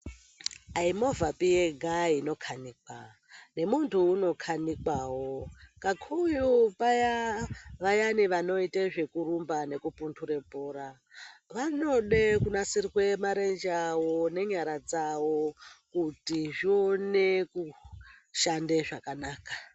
Ai mhovha yega inokanikwa nemuntu anokanikwawo kakurutu Vaya vanoita zvekurumba nekukumbura bhora vanode kunasirwa marenje awo nenyara dzawo kuti zvione kushanda zvakanaka.